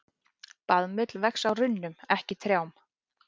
Baðmull vex á runnum, ekki trjám.